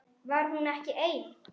Var hún ekki ein?